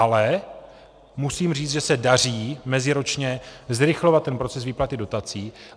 Ale musím říct, že se daří meziročně zrychlovat ten proces výplaty dotací.